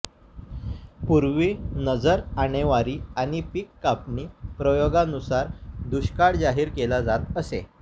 पूर्वी नजर आणेवारी आणि पीक कापणी प्रयोगानुसार दुष्काळ जाहीर केला जात असे